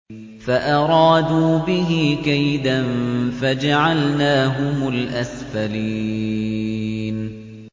فَأَرَادُوا بِهِ كَيْدًا فَجَعَلْنَاهُمُ الْأَسْفَلِينَ